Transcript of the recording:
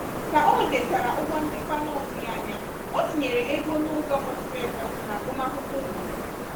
ka o nwetachara ụgwọ nchekwa na-ọtụghị anya ya o tinyere ego n'ụzọ kwesiri ekwesi n'agụmakwụlkwọ ụmụ ya.